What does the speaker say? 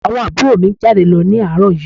Àwọn àbúrò mi jáde lọ ní àárọ̀ yìí